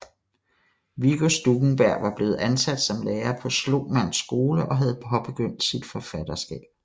Viggo Stuckenberg var blevet ansat som lærer på Slomanns Skole og havde påbegyndt sit forfatterskab